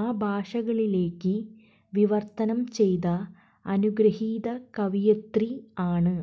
ആ ഭാഷകളിലേക്ക് വിവര്ത്തനം ചെയ്ത അനുഗ്രഹീത കവയിത്രി ആണ്